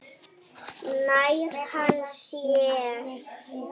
Nær hann sér?